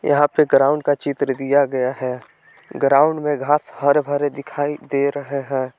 यहां पे ग्राउंड का चित्र दिया गया है ग्राउंड में घास हर भरे दिखाई दे रहे हैं।